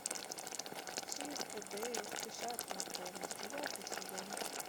чип и дейл спешат на помощь девятый сезон